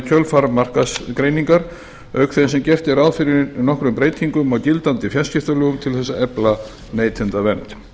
kjölfar markaðsgreiningar auk þess sem gert er ráð fyrir nokkrum breytingum á gildandi fjarskiptalögum til þess að efla neytendavernd